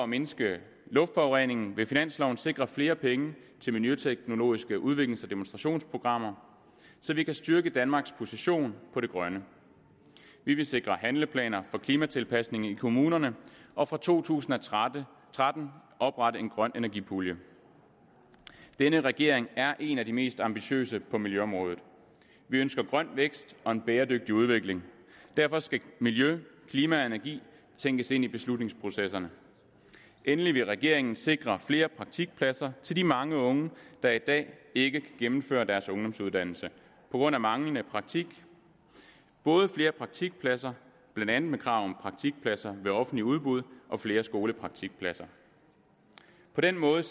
mindske luftforureningen vil finansloven sikre flere penge til miljøteknologiske udviklings og demonstrationsprogrammer så vi kan styrke danmarks position på det grønne vi vil sikre handleplaner for klimatilpasning i kommunerne og fra to tusind og tretten tretten oprette en grøn energipulje denne regering er en af de mest ambitiøse på miljøområdet vi ønsker grøn vækst og en bæredygtig udvikling derfor skal miljø klima og energi tænkes ind i beslutningsprocesserne endelig vil regeringen sikre flere praktikpladser til de mange unge der i dag ikke gennemfører deres ungdomsuddannelse på grund af manglende praktik både flere praktikpladser blandt andet med krav om praktikpladser ved offentlige udbud og flere skolepraktikpladser på den måde